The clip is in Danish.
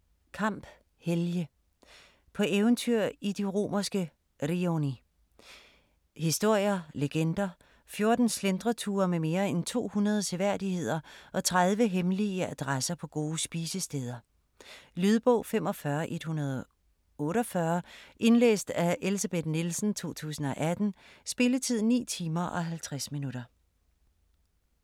Kamp, Helge: På eventyr i de romerske rioni Historier, legender, 14 slentreture med mere end 200 seværdigheder og 30 hemmelige adresser på gode spisesteder. Lydbog 45148 Indlæst af Elsebeth Nielsen, 2018. Spilletid: 9 timer, 50 minutter.